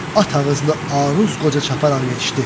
At ağızlı Aruz qoca çaparaq yetişdi.